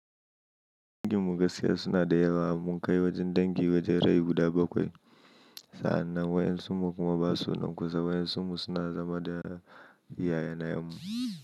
Dangin mu gaskiya suna da yawa, mun kai wajen dangi wajen rai guda bakwai. Sa'annan wayansun mu kuma ba su nan kusa. Wayansun mu suna zama da yaya na mu.